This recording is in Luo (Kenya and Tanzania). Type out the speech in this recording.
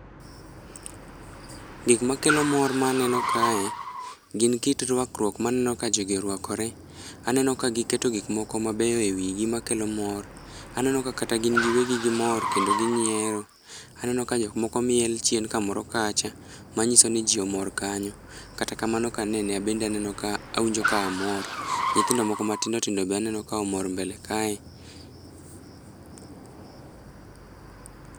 Gik makelo mor ma aneno kae, gin kit rwakruok ma aneno ka jogi orwakore. Aneno ka giketo gik moko mabeyo e wigi makelo mor. Aneno ka kata gin giwegi gimor kendo ginyiero. Aneno ka jok moko miel chien kamoro kacha manyiso ni ji omoro kanyo. Kata kamano ka anene an bende aneno ka, awinjo ka amor. Nyithindo moko matindo tindo be aneno ka omor mbele kae.